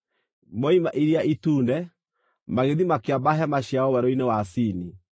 Moima Iria Itune, magĩthiĩ makĩamba hema ciao werũ-inĩ wa Sini.